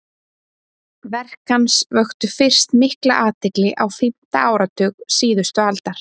Verk hans vöktu fyrst mikla athygli á fimmta áratug síðustu aldar.